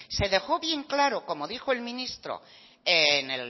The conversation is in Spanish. se dejó bien claro como dijo el ministro